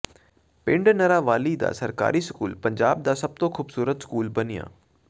ਪਿੰਡ ਨੜਾਂਵਾਲੀ ਦਾ ਸਰਕਾਰੀ ਸਕੂਲ ਪੰਜਾਬ ਦਾ ਸਭ ਤੋਂ ਖੂਬਸੂਰਤ ਸਕੂਲ ਬਣਿਆਂ